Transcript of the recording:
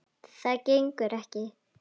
Það gengur ekki.